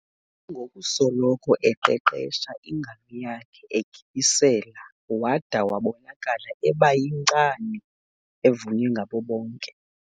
ngokusoloko eqeqesha ingalo yakhe egibisela wada wabonakala eba yinkcani evunywa ngabo bonke.